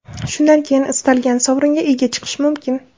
Shundan keyin istalgan sovringa ega chiqish mumkin.